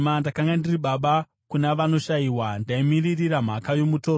Ndakanga ndiri baba kuna vanoshayiwa; ndaimiririra mhaka yomutorwa.